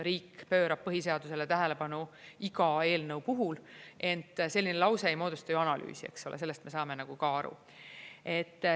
Riik pöörab põhiseadusele tähelepanu iga eelnõu puhul, ent selline lause ei moodusta ju analüüsi, eks ole, sellest me saame ka aru.